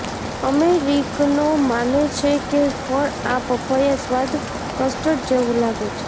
અમેરિકનો માને છે કે ફળ આ પપૈયા સ્વાદ કસ્ટર્ડ જેવું લાગે છે